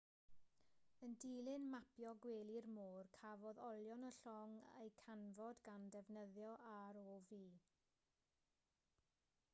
yn dilyn mapio gwely'r môr cafodd olion y llong eu canfod gan ddefnyddio rov